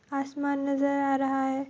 आसमान नज़र आ रहा है।